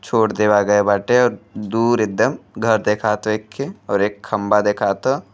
छोड़ देवा गए बाटे और दूर एद्दम घर देखात हो एखे और एक खम्बा देखात ह।